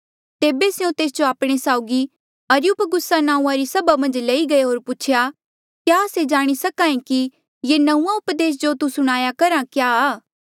तेबे स्यों तेस जो आपणे साउगी अरियुपगुसा नांऊँआ री सभा मन्झ लई गये होर पूछेया क्या आस्से जाणी सक्हा ऐें कि ये नंऊँआं उपदेस जो तू सुणाया करहा क्या आ